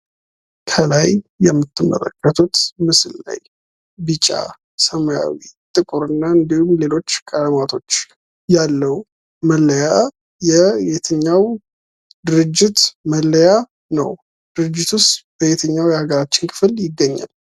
ከላይ የምትመለከቱት ምስል ላይ ቢጫ፣ ሰማያዊ፣ ጥቁርና እንዲሁም ሌሎች ቀለማቶች ያለው መለያ የየትኛው ድርጅት መለያ ነው? ድርጅቱስ በየትኛው የሀገራችን ክፍል ይገኛል?